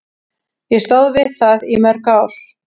Ég stóð við það í mörg ár.